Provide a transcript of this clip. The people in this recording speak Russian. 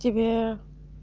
тебе